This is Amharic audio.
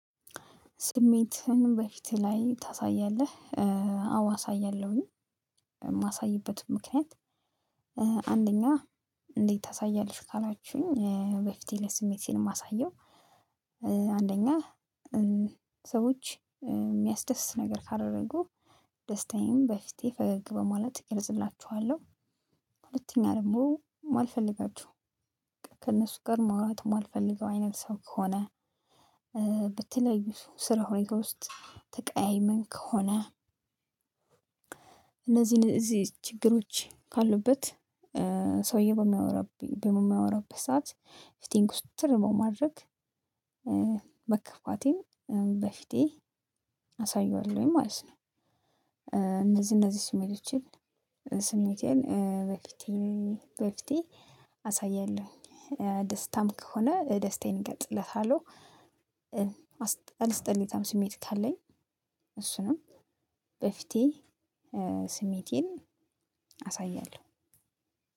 ስሜትህን በፊትህ ላይ ታሳያለህ? አዋ አሳያለሁኝ የማሳይበት ምክንያት አንደኛ እንዴት ታሳያለሽ ካላችሁኝ በፊቴ ላይ ስሜት ሲኖር የማሳየው። አንደኛ ሰዎች የሚያስደስት ነገር ካደረጉ ደስታዬን በፊቴ ፈገግ በማለት እገልፅላቸዋለሁ። ሁለተኛ ደግሞ ማልፈልጋቸው በቃ ከእነሱ ጋር ማውራት ማልፈልገው አይነት ሰው ከሆነ በተለያዩ ስራ ሁኔታ ውስጥ ተቀያይመን ከሆነ። እነዚህን እነዚህ ችግሮች ካሉበት ሰውዬ በማወራበት ሰዓት ፍቴን ኩስትር በማድረግ መከፋቴን በፊቴ አሳየዋለሁኝ ማለት ነው። እነዚህ እነዚህ ስሜቶቼን ስሜቴን በፊቴ በፊቴ አሳያለሁኝ ደስታም ከሆነ ደስታዬን እገልጽለታለሁ። አስጠሊታም ስሜት ካለኝ እሱንም በፊቴ ስሜቴን አሳያለሁ።